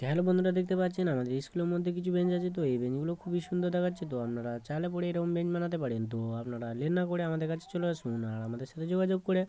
Hello বন্ধুরা দেখতে পাচ্ছেন আমাদের স্কুলের মধ্যে কিছু বেঞ্চ আছে | তো এই বেঞ্চ গুলো খুবই সুন্দর দেখাচ্ছে । তো আপনারা চাইলে পরে বেঞ্চ বানাতে পারেন তো আপনারা লেট না করে আমাদের কাছে চলে আসুন । আর আমাদের সাথে যোগাযোগ করে --